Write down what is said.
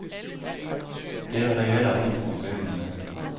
Det var der heller ingen problemer med.